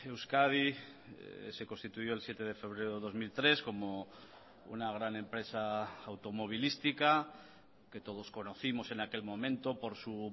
euskadi se constituyó el siete de febrero dos mil tres como una gran empresa automovilística que todos conocimos en aquel momento por su